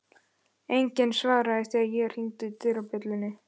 Enginn svaraði þegar ég hringdi dyrabjöllunni.